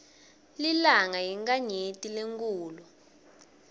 lilanga yinkhanyeti lenkhulu